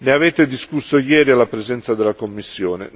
Ne avete discusso ieri alla presenza della Commissione.